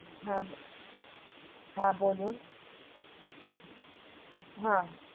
হা হা বলুন হা,